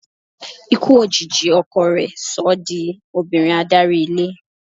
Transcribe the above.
Ikú òjijì ọkọ rẹ̀ so ọ́ di obìnrin adarí ilé.